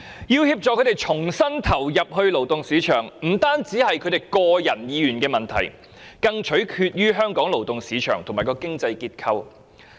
要協助他們重新投入勞動市場，不僅關乎他們的個人意願，更取決於香港的勞動市場及經濟結構。